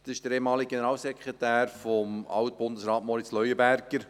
Er ist der ehemalige Generalsekretär von Alt-Bundesrat Moritz Leuenberger.